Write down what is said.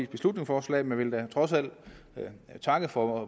beslutningsforslag men jeg vil da trods alt takke for